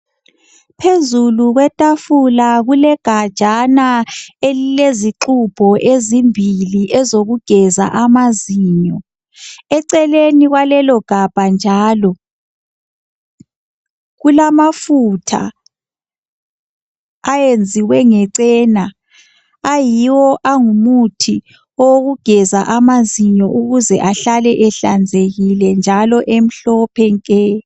Phezulu kwetafula kulegajana elilezixubho ezimbili ezizokugeza amazinyo. Eceleni kwalelogabha njalo kulamafutha ayenziwe ngecena ayiwo angumuthi owokugeza amazinyo ukuze ahlale ehlanzekile njalo emhlophe nke.